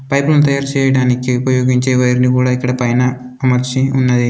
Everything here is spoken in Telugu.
పైపును తయారు చేయడానికి ఉపయోగించే వైరుని కూడా ఇక్కడ పైన అమర్చి ఉన్నది.